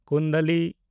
ᱠᱩᱱᱰᱟᱞᱤ